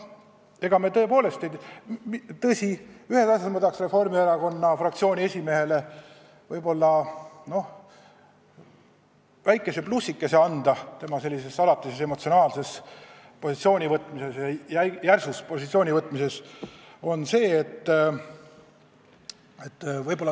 Aga ühes asjas ma tahan Reformierakonna fraktsiooni esimehele väikese plussikese anda tema sellise emotsionaalse ja järsu positsiooni võtmise eest.